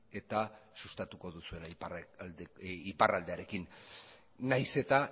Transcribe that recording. eta sustatuko duzuela iparraldearekin nahiz eta